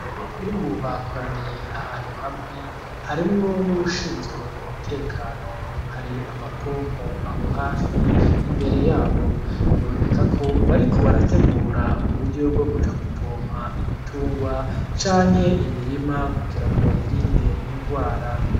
Abanyagihugu bakoraniye ahantu hamwe harimwo n'uwushinzwe umutekano, hari amapompo aho hafi imbere yabo, biboneka ko bariko barategura uburyo bwo kuja gupompa ibitungwa canke imirima kugira ngo bayirinde ingwara.